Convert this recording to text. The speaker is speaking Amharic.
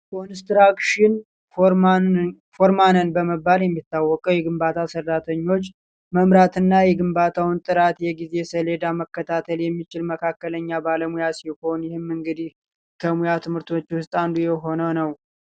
ኮንስትራክሽን ፍርማን በመባል የሚታወቀው የግንባታ ስራተኞች መምራት እና የግንባታውን ጥራት እና የጊዜ ሰሌዳ መከታተል የሚችል በካክለኛ ባለሙያ ሲሆን ይህ እንግዲህ ከሙያ ትምህርቶች ውስጥ አንዱ የሆነ ነው።